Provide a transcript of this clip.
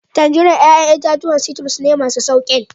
Tangerines 'ya'yan itatuwa citrus ne, masu sauƙin